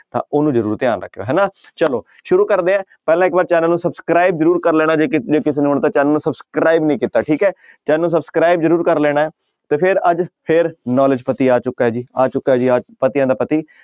ਤਾਂ ਉਹਨੂੰ ਜ਼ਰੂਰ ਧਿਆਨ ਰੱਖਿਓ ਹਨਾ ਚਲੋ ਸ਼ੁਰੂ ਕਰਦੇ ਹਾਂ ਪਹਿਲਾਂ ਇੱਕ ਵਾਰ ਚੈਨਲ ਨੂੰ subscribe ਜ਼ਰੂਰ ਕਰ ਲੈਣਾ ਜੇ ਕਿਸੇ ਨੇ ਕਿਸੇ ਨੇ ਹੁਣ ਤੱਕ ਚੈਨਲ ਨੂੰ subscribe ਨਹੀਂ ਕੀਤਾ ਠੀਕ ਹੈ ਚੈਨਲ ਨੂੰ subscribe ਜ਼ਰੂਰ ਕਰ ਲੈਣਾ ਹੈ ਤੇ ਫਿਰ ਅੱਜ ਫਿਰ knowledge ਪਤੀ ਆ ਚੁੱਕਾ ਹੈ ਜੀ, ਆ ਚੁੱਕਾ ਹੈ ਜੀ ਆ ਪਤੀਆਂ ਦਾ ਪਤੀ,